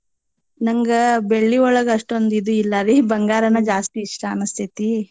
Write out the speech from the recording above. ನಂಗ ಬೆಳ್ಳಿ ಒಳಗ ಅಷ್ಟೊಂದಿದು ಇಲ್ಲಾರಿ ಬಂಗಾರನ ಜಾಸ್ತಿ ಇಷ್ಟ ಅನಸ್ತೇತಿ.